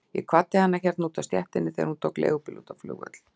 Ég kvaddi hana hérna úti á stéttinni þegar hún tók leigubíl út á flugvöll.